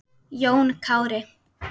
Jón Kári.